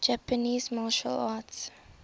japanese martial arts